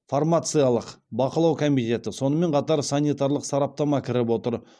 фармациялық бақылау комитеті сонымен қатар санитарлық сараптама кіріп отыр